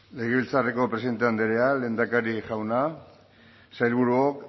legebiltzarreko presidente andrea lehendakari jauna sailburuok